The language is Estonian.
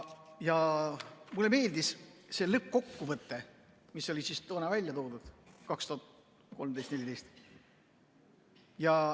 Mulle meeldis see lõppkokkuvõte, mis oli toona välja toodud, 2013, 2014.